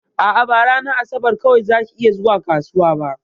A'a, ba ranar asabar kawai zaki iya zuwa kasuwa ba.